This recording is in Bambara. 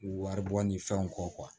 Wari bɔ ni fɛnw kɔ